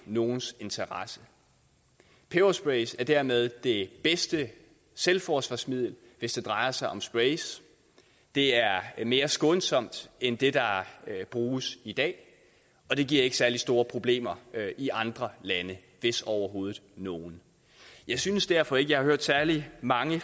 nogens interesse pebersprays er dermed det bedste selvforsvarsmiddel hvis det drejer sig om sprays det er mere skånsomt end det der bruges i dag og det giver ikke særlig store problemer i andre lande hvis overhovedet nogen jeg synes derfor ikke jeg har hørt særlig mange